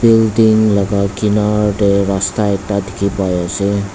building laka kinar tae rasta ekta dikhipaiase.